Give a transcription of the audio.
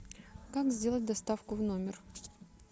как сделать доставку в номер